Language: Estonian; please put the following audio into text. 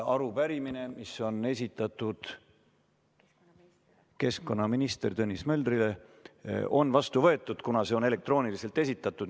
Arupärimine, mis on esitatud keskkonnaminister Tõnis Möldrile, on vastu võetud, kuna see on elektrooniliselt esitatud.